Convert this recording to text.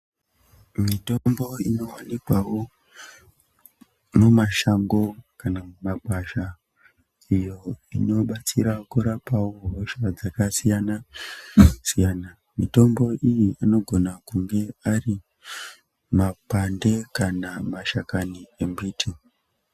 Mitombo inowanikwawo mumashango kana mumagwasha iyo inobatsira kurapawo hosha dzakasiyana-siyana, mitombo iyi inogona kunge ari makwande kana mashakani embiti.